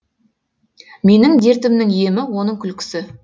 менің дертімнің емі оның күлкісі